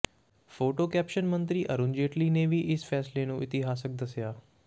photo caption ਮੰਤਰੀ ਅਰੁਣ ਜੇਤਲੀ ਨੇ ਵੀ ਇਸ ਫ਼ੈਸਲੇ ਨੂੰ ਇਤਿਹਾਸਕ ਦੱਸਿਆ